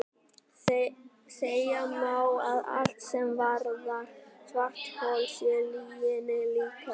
Segja má að allt sem varðar svarthol sé lyginni líkast.